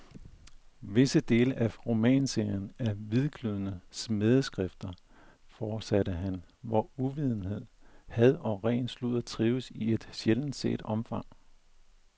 Visse dele af romanserien er hvidglødende smædeskrifter, fortsatte han, hvor uvidenhed, had og ren sludder trives i et sjældent set omfang.